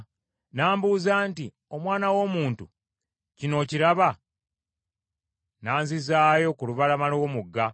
N’ambuuza nti, “Omwana w’omuntu, kino okiraba?” N’anzizaayo ku lubalama lw’omugga.